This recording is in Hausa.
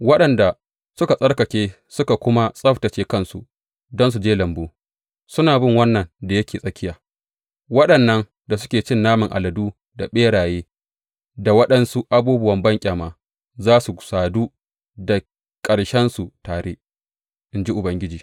Waɗanda suka tsarkake suka kuma tsabtacce kansu don su je lambu, suna bin wannan da yake tsakiya waɗannan da suke cin naman aladu da ɓeraye da waɗansu abubuwan banƙyama, za su sadu da ƙarshensu tare, in ji Ubangiji.